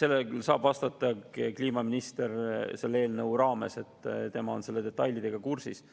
saab vastata kliimaminister selle eelnõu raames, tema on selle detailidega kursis.